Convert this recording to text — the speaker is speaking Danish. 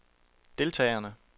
deltagerne